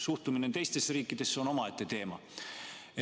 Suhted teiste riikidega on omaette teema.